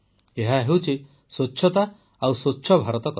ଏହା ହେଉଛି ସ୍ୱଚ୍ଛତା ଓ ସ୍ୱଚ୍ଛ ଭାରତ କଥା